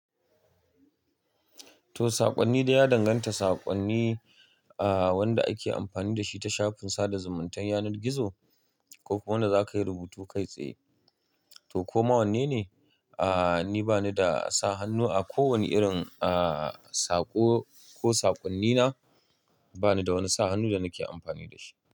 To saƙonni da ya danganta saƙonni ah wanda ake amfani da shi ta shafin sada zumuntan yanar gizo ko kuma wanda za ka yi rubutu kai tsaye. To koma wanne ne? Ah ni banida sa hannu akowani irin ah sako ko sakonni na banida wani sa hannu da nake amfani dashi.